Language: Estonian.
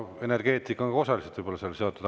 Energeetika võib ka osaliselt olla sellega seotud.